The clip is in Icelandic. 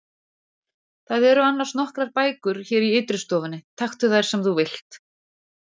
Það eru annars nokkrar bækur hér í ytri stofunni, taktu þær sem þú vilt.